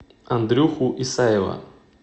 андрюху исаева